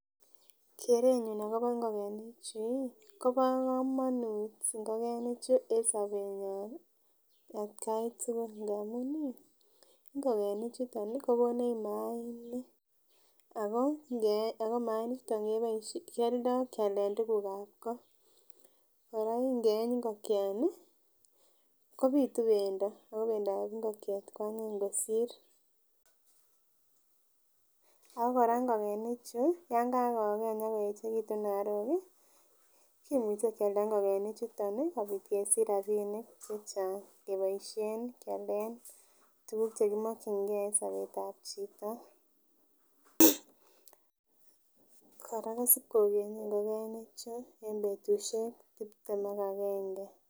Kerenyun akobo ingokenik chu ih Kobo komonut ingokenik chuu en sobenyon atgai tukul ngamun ingokenik chuton kokonech mainik ako ngey ako mainik chuto kioldo kialen tukuk ab ko. Koraa ingeyeny ingokiani kobitu pendo ako pendap ingokiet kwanyiny kosir. Akoraa ingokenik chuu yon kako keny amoyechekitu arok kii kimuche Kialda ingokenik chuton nii akesich rabinik chechang keboishen kialen tukuk chekimokingee en sobetab chito. Koraa kosib kokenye ngokenik chuu en betushek tiptem ak agenge.